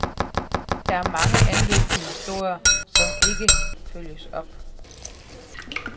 Der er mange anløb til historier, som ikke følges op.